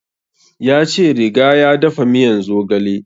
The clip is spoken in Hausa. Ya ce riga ya dafa miyan zogale